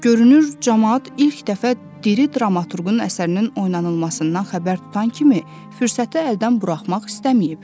Görünür camaat ilk dəfə diri dramaturqun əsərinin oynanılmasından xəbər tutan kimi fürsəti əldən buraxmaq istəməyib.